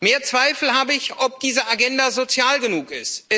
Mehr Zweifel habe ich, ob diese Agenda sozial genug ist.